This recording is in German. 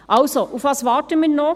Also: Worauf warten wir noch?